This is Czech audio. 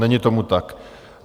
Není tomu tak.